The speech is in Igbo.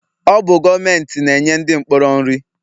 Ọ bụ gọọmenti na-enye ndị mkpọrọ nri